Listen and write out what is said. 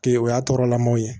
Ke o y'a tɔɔrɔlamɔw ye